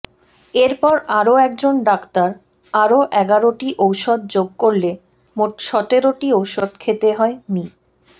এরপর আরও একজন ডাক্তার আরও এগারোটি ঔষধ যোগ করলে মোট সতেরটি ঔষধ খেতে হয় মি